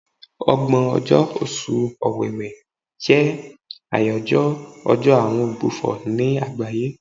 Ọgbọ̀n ọjọ́, Oṣù Ọ̀wẹ̀wè jẹ́ àyájọ́ ọjọ́ àwọn ogbùfọ̀ ní àgbáyé.